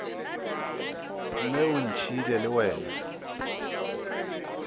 mme o ntšhiile le wena